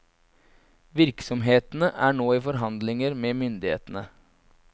Virksomhetene er nå i forhandlinger med myndighetene.